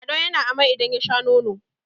lado ya na amai idan ya Sha nono!